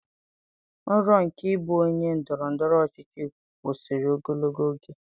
Nrọ nke ịbụ onye ndọrọ ndọrọ ọchịchị kwụsịrị ogologo oge